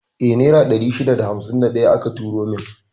Eh, Naira 651 aka turo min.